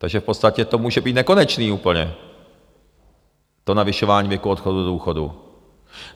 Takže v podstatě to může být nekonečné úplně, to navyšování věku odchodu do důchodu.